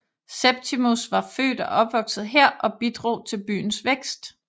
Septimus var født og opvokset her og bidrog til byens vækst